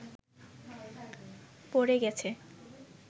প’ড়ে গেছে